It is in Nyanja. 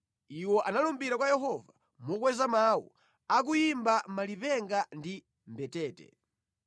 Iwo analumbira kwa Yehova, mokweza mawu, akuyimba malipenga ndi mbetete.